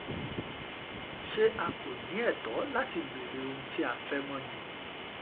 ṣé a kò ní ẹ̀tọ́ láti béèrè ohun tí a fẹ́ mọ̀ ni